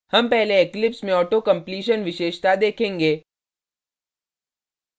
हम पहले eclipse में auto completion विशेषता देखेंगे